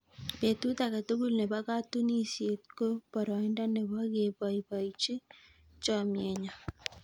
betut age tugul nebo katunisiet ko boroindo nebo keboibochii chomienyoo